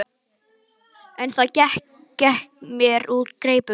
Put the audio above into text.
En það gekk mér úr greipum.